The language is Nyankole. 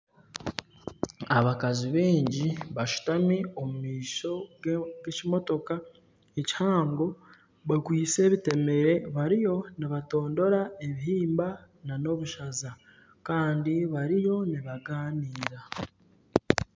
Abakazi baingi bashutami omumaisho g'ekimitoka ekihango bakwaitse ebitemere bariyo nibatondora ebihimba nana obushaza Kandi bariyo nibaganiira